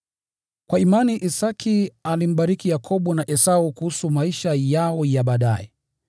Kwa imani Isaki alimbariki Yakobo na Esau kuhusu maisha yao ya baadaye.